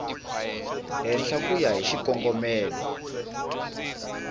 henhla ku ya hi xikongomelo